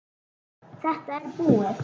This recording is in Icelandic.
Þetta er búið!